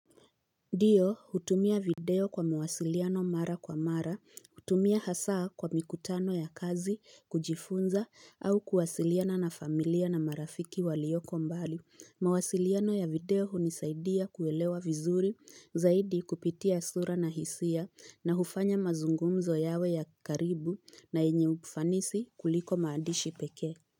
Ndiyo hutumia video kwa mawasiliano mara kwa mara, hutumia hasaa kwa mikutano ya kazi, kujifunza, au kuwasiliana na familia na marafiki walioko mbali. Mawasiliano ya video hunisaidia kuelewa vizuri, zaidi kupitia sura na hisia, na hufanya mazungumzo yawe ya karibu na yenye ufanisi kuliko maandishi peke.